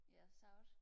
ja sagtens